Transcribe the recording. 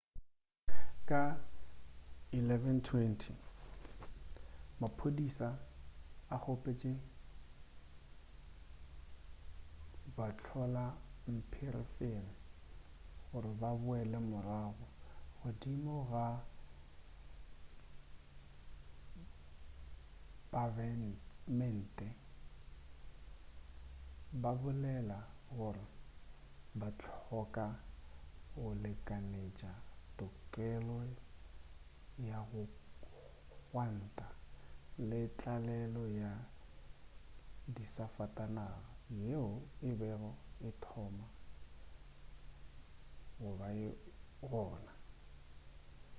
ka 11:20 maphodisa a kgopetše bahlolampherefere gore ba boele morago godimo ga pabemente ba bolela gore ba hloka go lekanetša tokelo ya go gwanta le tlalelo ya disafatanaga yeo e bego e thoma go ba gona